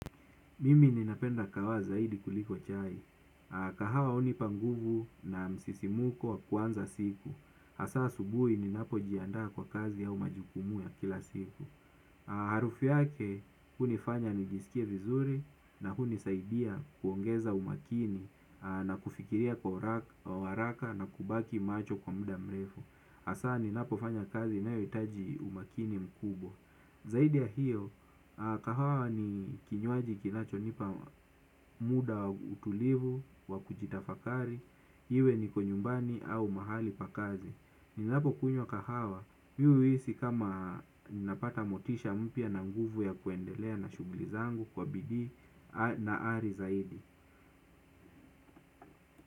Mimi ninapenda kahawa zaidi kuliko chai. Kahawa hunipa nguvu na msisimko wa kuanza siku. Hasa asubuhi ninapojiandaa kwa kazi au majukumu ya kila siku. Harufu yake hunifanya nijisikie vizuri na kunisaidia kuongeza umakini na kufikiria kwa haraka na kubaki macho kwa muda mrefu. Hasa ninapo fanya kazi inayohitaji umakini mkubwa. Zaidi ya hio, kahawa ni kinywaji kinacho nipa muda wa utulivu, wakujitafakari, iwe niko nyumbani au mahali pa kazi. Ninapo kunywa kahawa, mimi huhisi kama ninapata motisha mpya na nguvu ya kuendelea na shughuli zangu kwa bidii na ari zaidi.